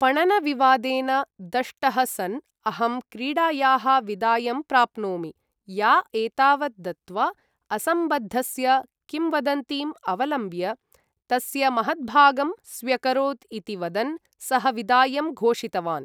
पणनविवादेन दष्टः सन्, अहं क्रीडायाः विदायं प्राप्नोमि, या एतावत् दत्वा, असम्बद्धस्य किंवदन्तीम् अवलम्ब्य, तस्य महद्भागं स्व्यकरोत् इति वदन् सः विदायं घोषितवान्।